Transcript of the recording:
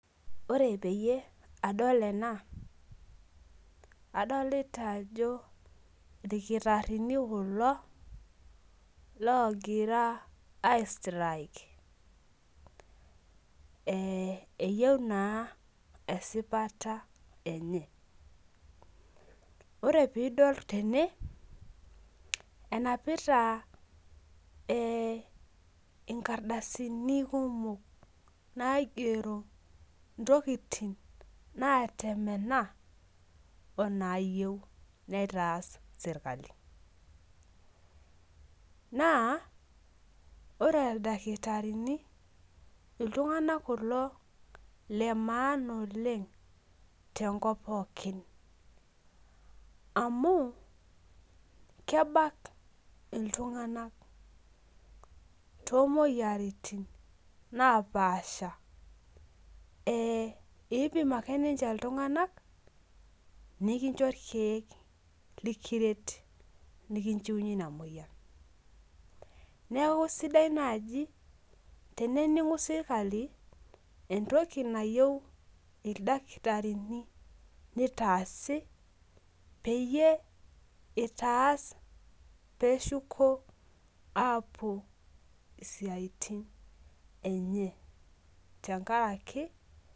Ore peyie adol ena , adolita ajo irkitarini kulo logira ai strike eyieu naa esipata , ore pidol tene enapita nkardasini naigero ntokitin natemena onayieu nitaas sirkali , naa ore ildakitarini iltung'anak kulo lemaana oleng' tenkop pookin amu kebak iltunga'nak tomoyiaritin napasha ipim ake ninche iltung'anak nikincho irkiek likiret nikinchiunyie ina moyian , niaku sidai naji tenening'u sirkali entoki nayieu ildakitarini nitaasi peyie itaas peshuko apuo isiatin enye tenkaraki.